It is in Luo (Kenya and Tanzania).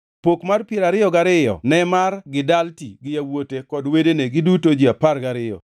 Pok mar piero gariyo ne mar Gidalti gi yawuote kod wedene, giduto ji apar gariyo,